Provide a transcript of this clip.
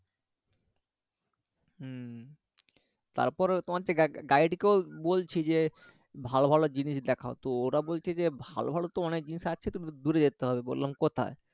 হুম তারপর তোমার যে guide বলছি যে ভালো ভালো জিনিস দেখাও তো ওরা বলছে যে ভালো ভালো তো অনেক জিনিস আছে তো দূরে যেতে হবে বললাম কোথায়